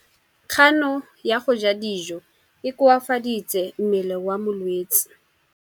Kganô ya go ja dijo e koafaditse mmele wa molwetse.